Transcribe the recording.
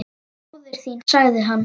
Móðir þín sagði hann.